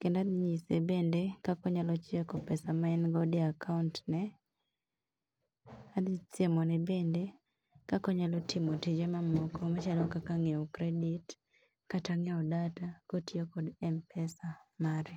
Kendo adhinyise bende kaka onyalo check pesa ma en godo e akaont ne. Adhisiemo ne bende kaka onyalo timo tije ma moko machalo kaka ng'iew credit kata ng'iew data kotiyo kod M-pesa mare